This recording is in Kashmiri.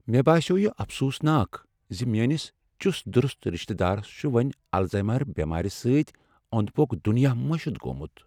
مےٚ باسیوو یہ افسوٗس ناک زِ میٛٲنس چُست درُست رشتہ دارس چھُ وۄنہِ الزایمٲر بٮ۪مارِ سۭتۍ أنٛدِ پٔکیوُك دٖنیاہ مٔشِتھ گوٚمت۔